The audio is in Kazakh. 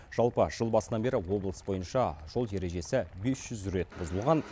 жалпы жыл басынан бері облыс бойынша жол ережесі бес жүз рет бұзылған